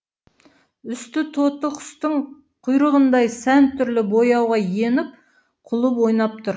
үсті тоты құстың құйрығындай сан түрлі бояуға еніп ойнап тұр